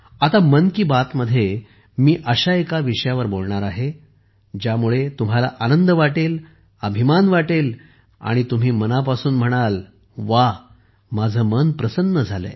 आता मन की बातमध्ये मी अशा एका विषयावर बोलणार आहे ज्यामुळे तुम्हाला आनंद वाटेल अभिमानही वाटेल आणि तुम्ही मनापासून म्हणाल व्वा माझे मन प्रसन्न झाले आहे